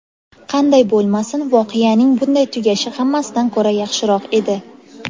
Qanday bo‘lmasin, voqeaning bunday tugashi hammasidan ko‘ra yaxshiroq edi.